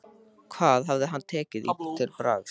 Hvað hefði hann tekið til bragðs?